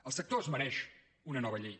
el sector es mereix una nova llei